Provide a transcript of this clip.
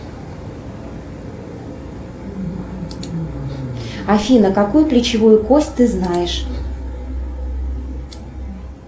афина какую плечевую кость ты знаешь